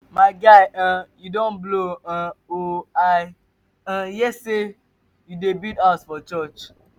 my guy um you don blow um oo i um hear say you dey build house for church.